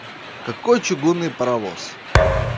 какой чугунный паровоз